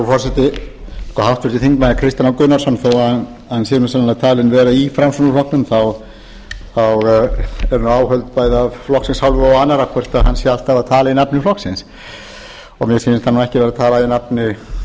forseti háttvirtur þingmaður kristinn h gunnarsson þó að hann sé nú sennilega talinn vera í framsóknarflokknum þá eru nú áhöld bæði af flokksins hálfu og annarra hvort hann sé alltaf að tala í nafni flokksins mér finnst hann nú ekki vera að tala í